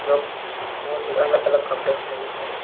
लोग बहोत ही अलग-अलग कपड़े पहने है।